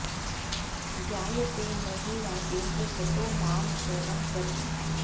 ज्ञायते न हि राजेन्द्र ततो मां शरणं व्रज